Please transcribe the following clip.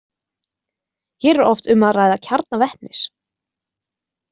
Hér er oft um að ræða kjarna vetnis.